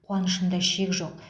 қуанышымда шек жоқ